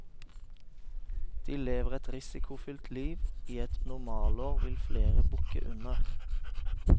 De lever et risikofylt liv, og i et normalår vil flere bukke under.